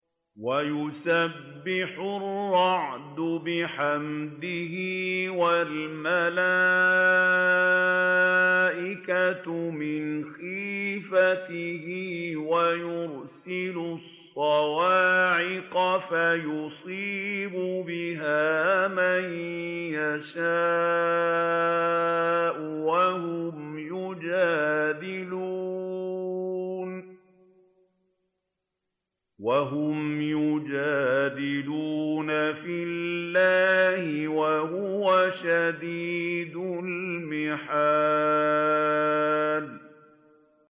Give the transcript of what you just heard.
وَيُسَبِّحُ الرَّعْدُ بِحَمْدِهِ وَالْمَلَائِكَةُ مِنْ خِيفَتِهِ وَيُرْسِلُ الصَّوَاعِقَ فَيُصِيبُ بِهَا مَن يَشَاءُ وَهُمْ يُجَادِلُونَ فِي اللَّهِ وَهُوَ شَدِيدُ الْمِحَالِ